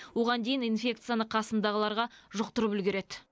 оған дейін инфекцияны қасындағыларға жұқтырып үлгереді